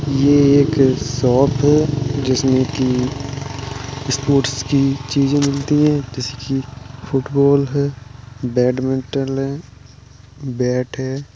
ये एक शॉप है। जिसमे की स्पोर्ट्स की चीजे मिलती है जैसे कि फुटबॉल है बैडमिंटल है बैट है।